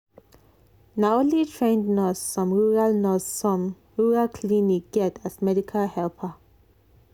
na only trained nurse some rural nurse some rural clinic get as medical helper.